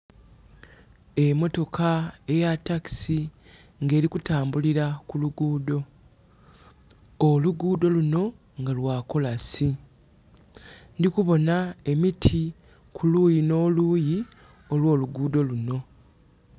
Emotoka eya takisi ng'eri kutambulira ku lugudho, olugudho lunho nga lwa kolasi. Ndhi kubonha emiti kuluyi n'oluyi olwolugudho lunho.